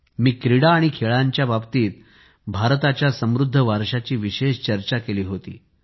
मी क्रीडा आणि खेळांच्या बाबतीतभारताच्या समृद्ध वारशाची विशेष चर्चा केली होती